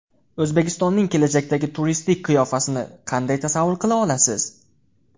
O‘zbekistonning kelajakdagi turistik qiyofasini qanday tasavvur qila olasiz?